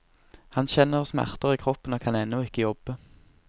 Han kjenner smerter i kroppen og kan ennå ikke jobbe.